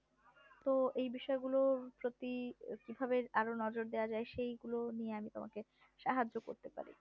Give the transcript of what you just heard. তো এই বিষয় গুলোর প্রতি কিভাবে আরো নজর দিয়া যাই সেই গুলো নিয়ে তোমাকে সাহায্য করতে পারি